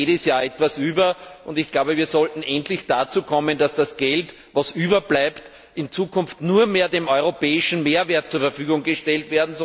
Es bleibt jedes Jahr etwas über, und wir sollten endlich dazu kommen, das Geld, das überbleibt, in Zukunft nur mehr dem europäischen Mehrwert zur Verfügung zu stellen.